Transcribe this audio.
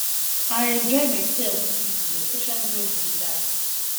i enjoy myself dis evening especially wen we dey dance